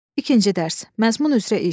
İkinci dərs, məzmun üzrə iş.